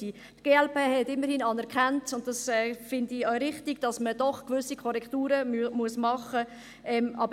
Die glp-Fraktion hat immerhin anerkannt, und das finde ich auch richtig, dass man doch gewisse Korrekturen machen muss.